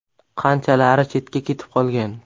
Qanchalari chetga ketib qolgan.